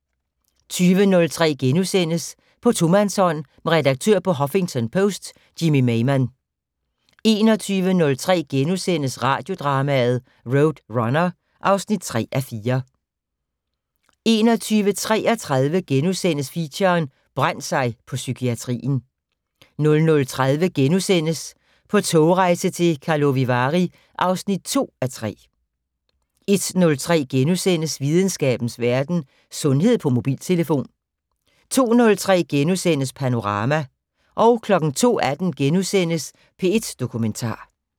20:03: På tomandshånd med redaktør på Huffington Post Jimmy Maymann * 21:03: Radiodrama: RoadRunner (3:4)* 21:33: Feature: Brændt sig på psykiatrien * 00:30: På togrejse til Karlovy Vary (2:3)* 01:03: Videnskabens Verden: Sundhed på mobiltelefon * 02:03: Panorama * 02:18: P1 Dokumentar *